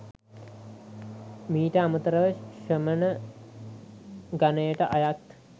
මීට අමතරව ශ්‍රමණ ගණයට අයත්